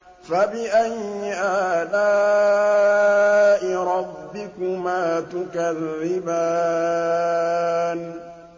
فَبِأَيِّ آلَاءِ رَبِّكُمَا تُكَذِّبَانِ